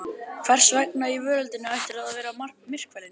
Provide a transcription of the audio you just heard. Hvers vegna í veröldinni ættirðu að vera myrkfælinn?